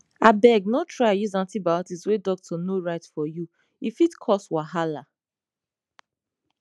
abeg no try use antibiotics wey doctor no write for you e fit cause wahala